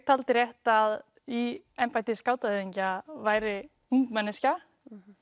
taldi rétt að í embætti skátahöfðingja væri ung manneskja